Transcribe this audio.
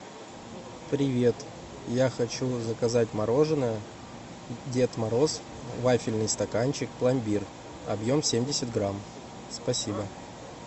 привет я хочу заказать мороженое дед мороз вафельный стаканчик пломбир объем семьдесят грамм спасибо